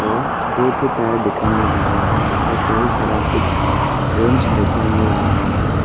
दो ठो टायर दिखाई मिल रहा है और कई सारा कुछ रेंच दिखाई मिल रहा है।